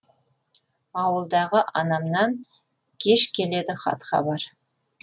ауылдағы анамнан кеш келеді хат хабар